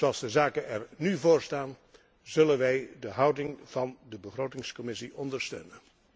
Zoals de zaken er nu voor staan zullen wij de houding van de Begrotingscommissie ondersteunen.